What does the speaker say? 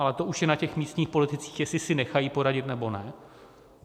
Ale to už je na těch místních politicích, jestli si nechají poradit, nebo ne.